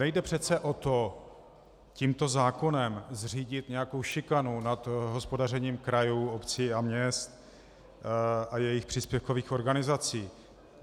Nejde přece o to, tímto zákonem zřídit nějakou šikanu nad hospodařením krajů, obcí a měst a jejich příspěvkových organizací.